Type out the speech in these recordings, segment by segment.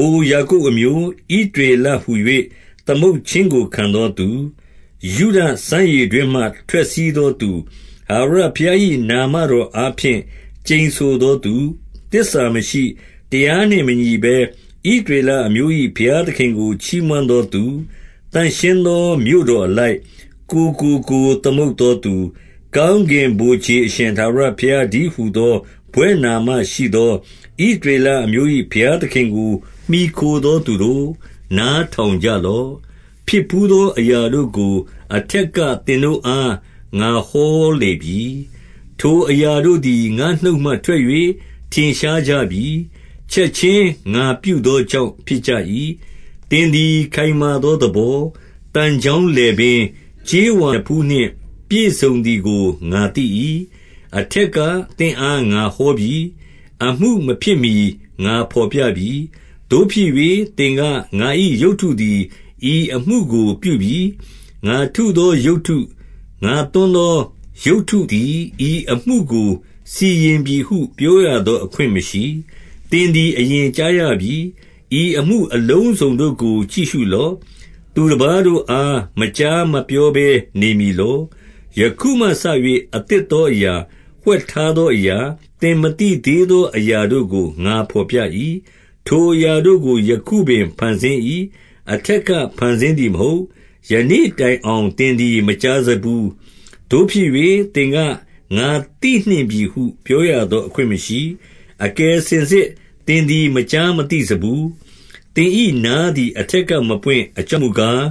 အို ယာကုပ်အမျိုး၊ ဣသရေလဟူ၍ သမုတ်ခြင်း ကို ခံသောသူ၊ ယုဒစမ်းရေတွင်းမှ ထွက်စီးသောသူ၊ ထာဝရဘုရား၏ နာမတော်အားဖြင့် ကျိန်ဆိုသောသူ၊ သစ္စာမရှိ၊ တရားနှင့်မညီဘဲ ဣသရေလအမျိုး၏ ဘုရား သခင်ကို ချီးမွမ်းသောသူ၊ 2 သန့်ရှင်းသော မြို့တော်အလိုက်၊ ကိုယ်ကိုကိုယ် သမုတ်သောသူ၊ ကောင်းကင်ဗိုလ်ခြေအရှင် ထာဝရ ဘုရားတည်းဟူသော ဘွဲ့နာမရှိသော ဣသရေလအမျိုး ၏ ဘုရားသခင်ကို မှီခိုသော သူတို့၊ နားထောင်ကြလော့။ 3 ဖြစ်ဘူးသောအရာတို့ကို အထက်က သင်တို့ အား ငါဟောလေပြီ။ ထိုအရာတို့သည် ငါ့နှုတ်မှထွက်၍ ထင်ရှားကြပြီ။ ချက်ခြင်း ငါပြုသောကြောင့် ဖြစ်ကြပြီ။ 4 သင်သည် ခိုင်မာသော သဘော၊ သံချောင်း လည်ပင်း၊ ကြေးဝါနဖူးနှင့် ပြည့်စုံသည်ကို ငါသိသော ကြောင့်၊ 5 အထက်က သင့်အား ငါဟောပြီ။ အမှုမဖြစ်မှီ ငါဘော်ပြပြီ။ သို့ဖြစ်၍ သင်က ၊ ငါ၏ရုပ်တုသည် ဤအမှု ကို ပြုပြီ။ ငါထုသော ရုပ်တု၊ ငါသွန်းသော ရုပ်တုသည် ဤအမှုကို စီရင်ပြီဟု ပြောရသော အခွင့်မရှိ။ 6 သင်သည် အရင်ကြားရပြီ။ ဤအမှုအလုံးစုံတို့ ကို ကြည့်ရှုလော့။ သူတပါးတို့အား မကြားမပြောဘဲ နေမည်လော။ ယခုမှစ၍ အသစ်သောအရာ၊ ဝှက်ထား သောအရာ၊ သင်မသိသေးသော အရာတို့ကို ငါဘော်ပြ ၏။ 7 ထိုအရာတို့ကို ယခုပင် ဖန်ဆင်း၏။ အထက်က ဖန်ဆင်းသည်မဟုတ်။ ယနေ့တိုင်အောင် သင်သည် မကြားစဖူး။ သို့ဖြစ်၍ သင်က ၊ ငါသိနှင့်ပြီဟု ပြောရသော အခွင့်မရှိ။ 8 အကယ်စင်စစ် သင်သည် မကြားမသိစဖူး။ သင်၏ နားသည် အထက်က မပွင့်။ အကြောင်းမူကား၊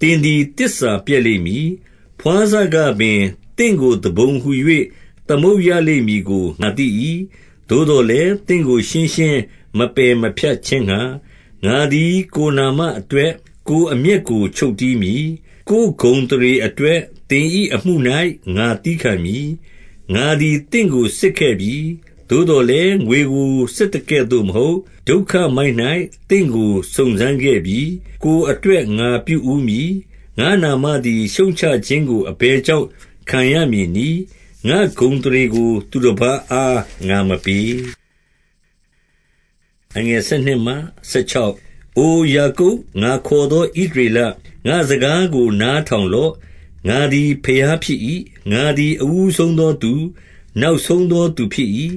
သင်သည် သစ္စာပျက်လိမ့်မည်။ ဘွားစကပင် သင့်ကို သူပုန်ဟူ၍ သမုတ်ရလိမ့်မည်ကို ငါသိ၏။ 9 သို့သော်လည်း၊ သင့်ကို ရှင်းရှင်း မပယ်မဖြတ် ခြင်းငှါ၊ ငါသည် ကိုယ်နာမအတွက် ကိုယ်အမျက်ကို ချုပ် တည်းမည်။ ကိုယ်ဂုဏ်အသရေအတွက် သင်၏အမှု၌ ငါသည်းခံမည်။ 10 ငါသည် သင့်ကို စစ်ခဲ့ပြီ။ သို့သော်လည်း၊ ငွေကို စစ်သကဲ့သို့မဟုတ်၊ ဒုက္ခမှိုက်၌ သင့်ကို စုံစမ်းခဲ့ပြီ။ 11 ကိုယ်အတွက် ငါပြုဦးမည်။ ငါ့နာမသည် ရှုပ်ချခြင်းကို အဘယ်ကြောင့် ခံရမည်နည်း။ ငါ့ဂုဏ် အသရေကို သတပါးအား ငါမပေး။ 12 အိုယာကုပ်၊ ငါခေါ်သော ဣသရေလ၊ ငါ့စကား ကို နားထောင်လော့။ ငါသည် ဘုရားဖြစ်၏။ ငါသည် အဦးဆုံးသောသူ၊ နောက်ဆုံးသောသူ ဖြစ်၏။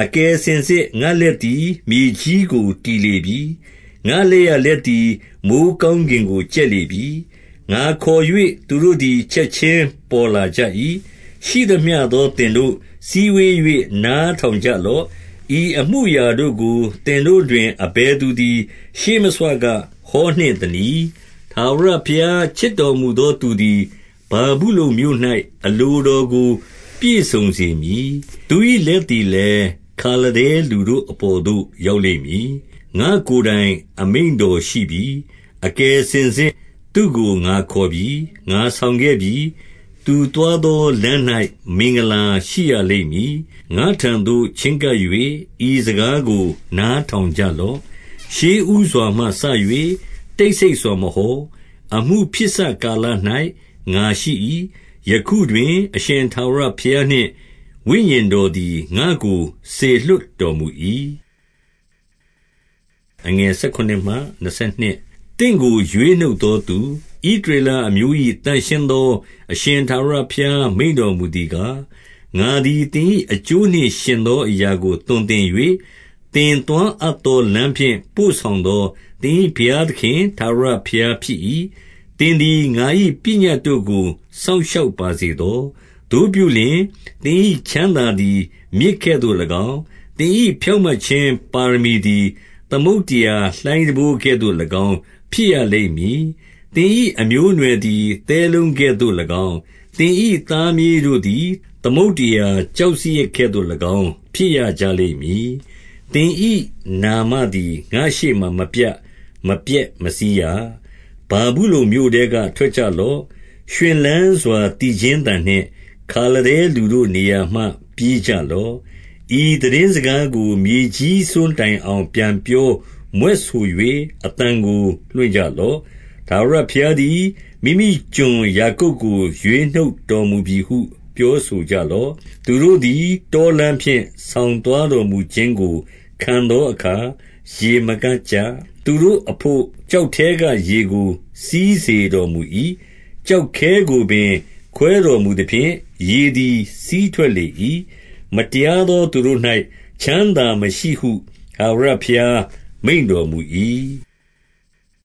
13 အကယ်စင်စစ် ငါ့လက်သည် မြေကြီးကို တည် လေပြီ။ ငါ့လက်ျာလက်သည် မိုဃ်းကောင်းကင်ကို ကြက် လေပြီ။ ငါခေါ်၍ သူတို့သည် ချက်ခြင်း ပေါ်လာကြ၏။ 14 ရှိသမျှသော သင်တို့၊ စည်းဝေး၍ နားထောင် ကြလော့။ ဤအမှုအရာတို့ကို သင်တို့တွင် အဘယ်သူ သည် ရှေးမဆွက ဟောနှင့်သနည်း။ ထာဝရဘုရား ချစ် တော်မူသော သူသည် ဗာဗုလုန်မြို့၌ အလိုတော်ကို ပြည့်စုံ စေမည်။ သူ၏ လက်သည်လည်း၊ ခါလဒဲလူတို့အပေါ်သို့ ရောက်လိမ့်မည်။ 15 ငါ့ကိုယ်တိုင် အမိန့်တော်ရှိပြီ။ အကယ်စင်စစ် သူ့ကို ငါခေါ်ပြီ။ ငါဆောင်ခဲ့ပြီ။ သူသွားသောလမ်း၌ မင်္ဂလာရှိရလိမ့်မည်။ 16 ငါ့ထံသို့ ချဉ်းကပ်၍ ဤစကားကို နားထောင်ကြ လော့။ ရှေ့ဦးစွာမှစ၍ တိတ်ဆိတ်စွာ မဟော။ အမှု ဖြစ်စကာလ၌ ငါရှိ၏။ ယခုတွင် အရှင်ထာဝရဘုရားနှင့် ဝိညာဉ်တော်သည် ငါ့ကို စေလွှတ်တော်မူ၏။ 17 သင့်ကို ရွေးနှုတ်သောသူ၊ ဣသရေလအမျိုး၏ သန့်ရှင်းသော အရှင်ထာဝရဘုရား မိန့်တော်မူသည်ကား၊ ငါသည် သင်၏အကျိုးနှင့်ယှဉ်သော အရာကို သွန်သင်၍၊ သင်သွားအပ်သော လမ်းဖြင့် ပို့ဆောင်သော သင်၏ ဘုရားသခင်ထာဝရဘုရား ဖြစ်၏။ 18 သင်သည် ငါ၏ပညတ်တို့ကို စောင့်ရှောက်ပါ စေသော။ သို့ပြုလျှင်၊ သင်၏ချမ်းသာသည် မြစ်ကဲ့သို့၎င်း၊ သင်၏ဖြောင့်မတ်ခြင်းပါရမီသည် သမုဒ္ဒရာလှိုင်းတံပိုး ကဲ့သို့၎င်း ဖြစ်ရလိမ့်မည်။ 19 သင်၏ အမျိုးအနွယ်သည် သဲလုံးကဲ့သို့၎င်း၊ သင်၏သားမြေးတို့သည်၊ သမုဒ္ဒရာကျောက်စရစ်ကဲ့သို့ ၎င်း ဖြစ်ရကြလိမ့်မည်။ သင်၏နာမသည် ငါ့ရှေ့မှာ မပြတ်၊ မပျက်မစီးရ။ 20 ဗာဗုလုန်မြို့ထဲက ထွက်ကြလော့။ ရွှင်လန်းစွာ သီချင်းသံနှင့် ခါလဒဲလူတို့နေရာမှ ပြေးကြလော့။ ဤသိတင်းစကားကို မြေကြီးစွန်းတိုင်အောင် ပြန်ပြော မြွက်ဆို၍ အသံကို လွှင့်ကြလော့။ ထာဝရဘုရားသည် မိမိကျွန်ယာကုပ်ကို ရွေးနှုတ်တော်မူပြီဟု ပြောဆိုကြ လော့။ 21 သူတို့သည် တောလမ်းဖြင့် ဆောင်သွားတော်မူ ခြင်းကို ခံသောအခါ ရေမငတ်ကြ။ သူတို့အဘို့ ကျောက် ထဲက ရေကို စီးစေတော်မူ၏။ ကျောက်ခဲကိုပင် ခွဲတော်မူ သဖြင့်၊ ရေသည် စီးထွက်လေ၏။ 22 မတရားသော သူတို့၌ ချမ်းသာမရှိဟု ထာဝရ ဘုရားမိန့်တော်မူ၏။